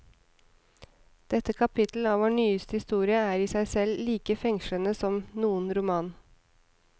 Dette kapittel av vår nyeste historie er i seg selv like fengslende som noen roman.